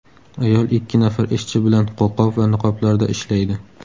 Ayol ikki nafar ishchi bilan qo‘lqop va niqoblarda ishlaydi.